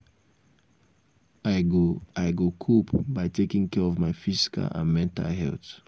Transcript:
i go i go cope by taking care of my physical and mental health.